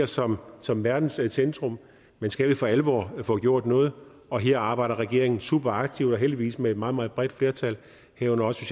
som som verdens centrum men skal vi for alvor få gjort noget og her arbejder regeringen superaktivt og heldigvis med et meget meget bredt flertal herunder også